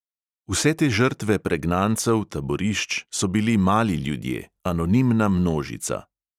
Vse te žrtve pregnancev, taborišč, so bili mali ljudje, anonimna množica.